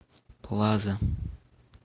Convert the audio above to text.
плаза